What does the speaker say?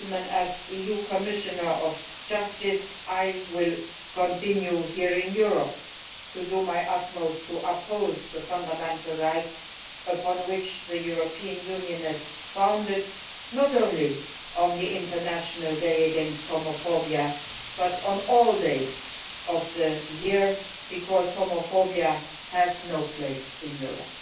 As EU Commissioner for Justice, I will continue here in Europe to do my utmost to uphold the fundamental rights upon which the European Union is founded, not only on the International Day against Homophobia but on every day of the year, because homophobia has no place in Europe.